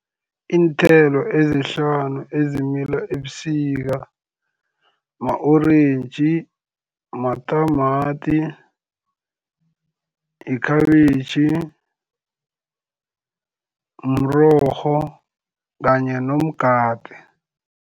Iinthelo ezihlanu ezimila ebusika ma-orentji, matamati, yikhabitjhi, mrorho kanye nomgade.